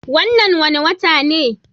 Wannan wane wata ne?